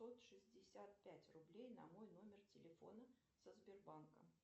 сто шестьдесят пять рублей на мой номер телефона со сбербанка